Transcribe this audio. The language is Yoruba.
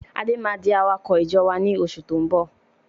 Adé máa di awakọ̀ ìjọ wá ní oṣù tó ń bọ̀